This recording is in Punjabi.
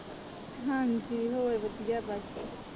ਹਾਂਜੀ ਹੋਰ ਵਧੀਆ ਬਸ।